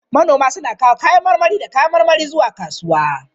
Manoma suna kawo kayan marmari da kayan marmari zuwa kasuwa.